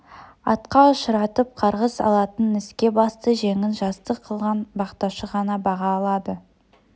атқа ұшыратып қарғыс алатын іске басты жеңін жастық қылған бақташы ғана баға алады